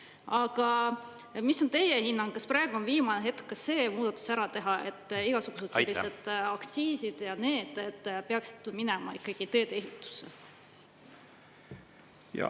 Aga mis on teie hinnang: kas praegu on viimane hetk ka see muudatus ära teha, et igasugused aktsiisid peaksid minema ikkagi teedeehitusse?